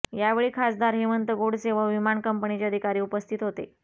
यावेळी खासदार हेमंत गोडसे व विमान कंपनीचे अधिकारी उपस्थित होते